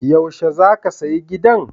Yaushe za ka sayi gidan?